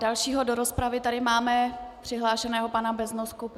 Dalšího do rozpravy tady máme přihlášeného pana Beznosku.